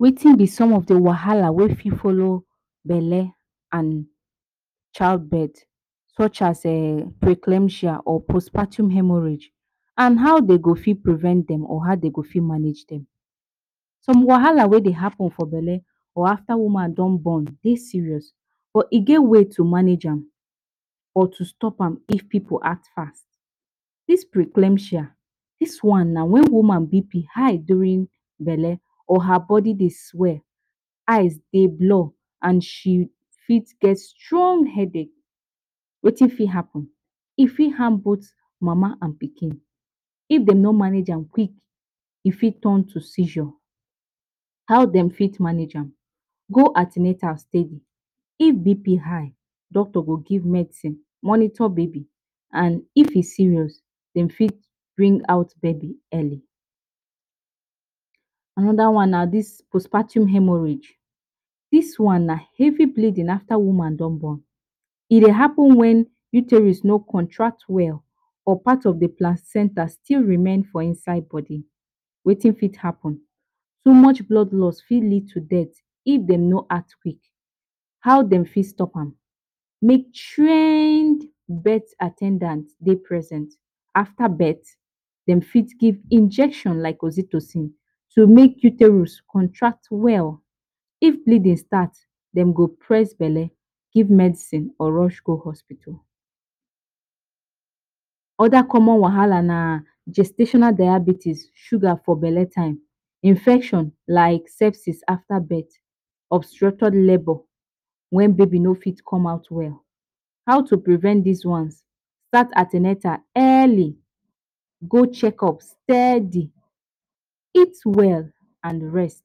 Wetin b Some of the wahala wey follow belle and childbirth, such as a preclampsia or postpartum hemorrhage, and how dey go prevent dem or how dey go manage dem. Some wahala, when they happen for belle or afta woman don born Dey serious, but dey get way to manage dem. or to stop dem if pipu ask. Dis preclampsia na that one wen woman BP high during belle or her body Dey weak, eyes they blur and she fit get strong headache. Wetin fit happen? E harm both mama and pikin. If dem no manage dem quick, e fit turn to seizure. How dem fit manage dem? Go an ten atal steady. If BP high, doctor go give medicine, monitor baby, and if e serious, dem fit bring out baby early. Anoda one na these postpartum hemorrhage. This one na heavy bleeding afta woman don born. E happen when uterus no contract well or part of the placenta still remain for inside body. Wetin fit happen. Too much blood loss fit lead to death. If dey no speak, how dem fit stop them? Make trained birth at ten dants Dey present. After birth, dem fit give injections like oxytocin, to make uterus contract well. If bleeding start, dem go press belle, give medicine, or rush go hospital. Other common wahala na gestational diabetes, sugar for belle time, Infection, like sepsis after birth, obstructed labour, when baby no fit comot well. How to prevent these ones? Start an ten atal early, go checkup steady, eat well, and rest.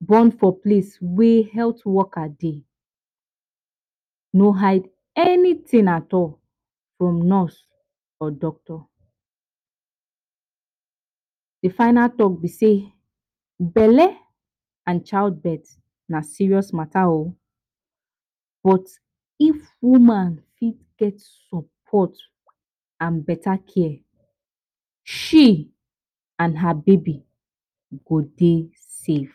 Born for place wey health workers Dey, No hide anything at all from nurse or doctor. The final talk b sey belle and childbirth na serious matter o. But if woman fit get support and better care, she and her baby go dey safe.